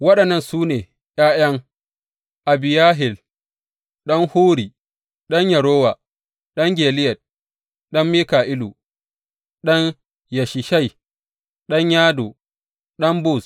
Waɗannan su ne ’ya’yan Abihayil ɗan Huri, ɗan Yarowa, ɗan Gileyad, ɗan Mika’ilu, ɗan Yeshishai, ɗan Yado, ɗan Buz.